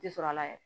Ti sɔrɔ a la yɛrɛ